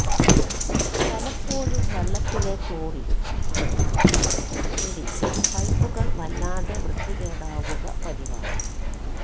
പലപ്പോഴും വെള്ളത്തിലെ ക്ലോറിനും മറ്റും പിടിച്ച് പൈപ്പുകള് വല്ലാതെ വൃത്തികേടാവുക പതിവാണ്